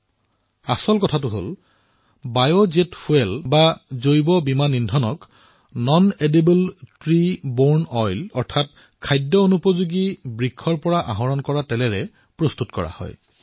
উল্লেখযোগ্য কথা এয়েই যে বায়জেট ইন্ধনক ননেডিবল ত্ৰী বৰ্ণে অইল ৰে প্ৰস্তুত কৰা হৈছে